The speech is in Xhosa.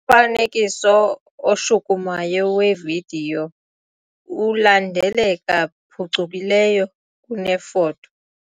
Umfanekiso oshukumayo wevidiyo ulandeleka phucukileyo kunefoto.